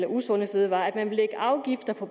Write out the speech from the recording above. få